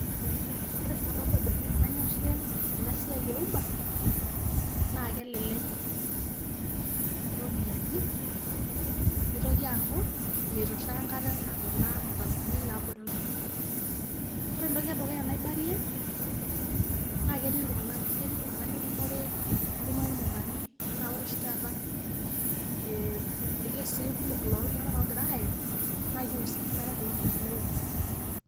Ore sababu e dukuya nanyorie ena siai e uber naake elelek iropiani nitoki aaku mituraa enkata naa kuna matatu ni naabore iltung'anak. Ore entoki e dukuya naibarie ketii iltung'anak keti iltung'anak litumore nitumore irmukorani enaa ore oshi taata ee irkesii looltung'anak kumok oogira aye naake i husika nare kulo tung'anak le uber.